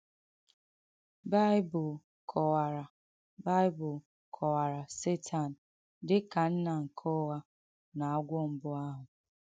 Bìbìl kọ̀wàrà Bìbìl kọ̀wàrà Sètàn dị ka “nnà nke ụghā” na “agwọ̀ mbù àhụ̄.”